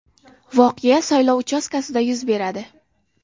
Voqea saylov uchastkasida yuz beradi.